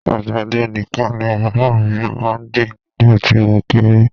Àgbàdo nìkan ni bàbá mi máa ń gbìn nígbà tí mo kéré